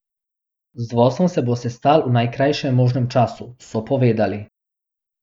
Z vodstvom se bo sestal v najkrajšem možnem času, so povedali.